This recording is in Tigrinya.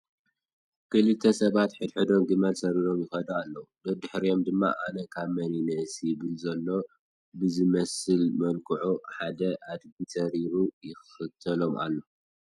ክልተ ሰባት ንሕድ ሕዶም ግመል ሰሪሮም ይኸዱ ኣለዉ፡፡ ደድሕሪኦም ድማ ኣነ ካብ መን ይንእስ ይብል ዘሎ ብዝመስል መልክዑ ሓደ ኣድጊ ሰሪሩ ይኽተሎም ኣሎ፡፡